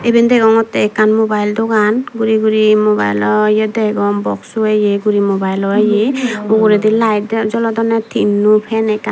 eben degongottey ekkan mobayel dogan guri guri mobayelo ye degong boxso ye guri mobaelo ye uguredi layet jolodonney tinno fan ekkan.